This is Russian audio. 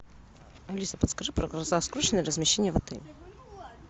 алиса подскажи про размещение в отеле